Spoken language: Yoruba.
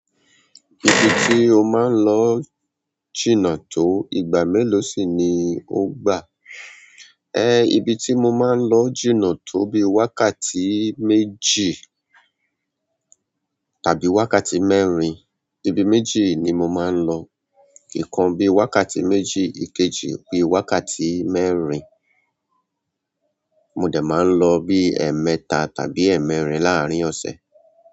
Ibi tí ó máa ń lọ jìnnà tó, ìgbà mélòó sì ni ó gbà? Ẹ, ibi tí mo máa ń lọ jìnnà tó bí i wákàtí méjì tàbí wákàtí mẹ́rin, ibi méjì ni mo máa ń lọ. Ikan bí wákàtí méjì ikejì bi wákàtí mẹ́rin, mo dẹ máa ń lọ bí ẹ̀ẹ̀mẹta tàbí ẹ̀ẹ́mẹ́rin láàárín ọ̀sẹ̀.